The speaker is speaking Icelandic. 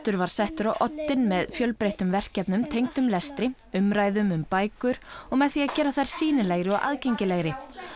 var settur á oddinn með fjölbreyttum verkefnum tengdum lestri umræðum um bækur og með því að gera þær sýnilegri og aðgengilegri